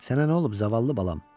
Sənə nə olub, zavallı balam?